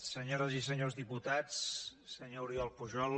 senyores i senyors diputats senyor oriol pujol